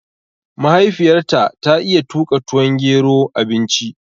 Mahaifiyar ta ta iya tuƙa tuwon gero, abinci